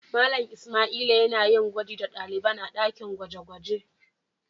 Mallam lsmaila yana yin gwaji da dalibain a dakin gwaje-gwaje.